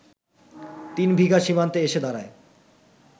তিনবিঘা সীমান্তে এসে দাঁড়ায়